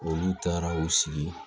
Olu taara u sigi